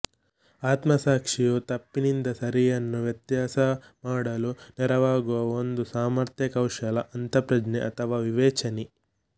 ಆತ್ಮಸಾಕ್ಷಿಯು ತಪ್ಪಿನಿಂದ ಸರಿಯನ್ನು ವ್ಯತ್ಯಾಸಮಾಡಲು ನೆರವಾಗುವ ಒಂದು ಸಾಮರ್ಥ್ಯ ಕೌಶಲ ಅಂತಃಪ್ರಜ್ಞೆ ಅಥವಾ ವಿವೇಚನೆ